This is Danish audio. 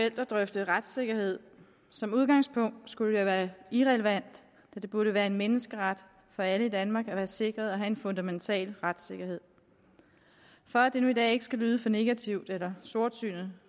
at drøfte retssikkerhed som udgangspunkt skulle det være irrelevant da det burde være en menneskeret for alle i danmark at være sikret en fundamental retssikkerhed for at det nu i dag ikke skal lyde for negativt eller sortsynet